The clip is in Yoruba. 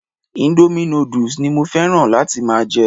Indomie noodles ni mo fẹ́ràn láti máa jẹ